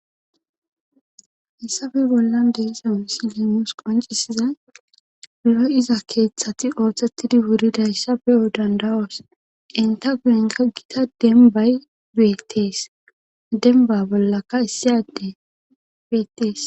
hessafe bollan deesa misi liemus qoncisiza loy iza keeththati ooththettidi wuridayssa beyo dandawoos inta guyenka gita denbay betees denba bollaka issiyade beettees